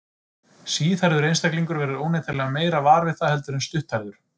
Síðhærður einstaklingur verður óneitanlega meira var við það heldur en stutthærður.